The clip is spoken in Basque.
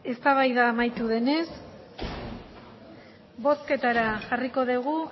eztabaida amaitu denez bozketara jarriko dugu